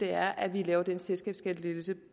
er at vi laver den selskabsskattelettelse